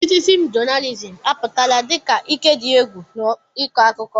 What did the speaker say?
Citizin jonalizim apụtala dị ka ike dị egwu n'ịkọ akụkọ.